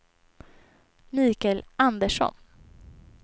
Mikael Andersson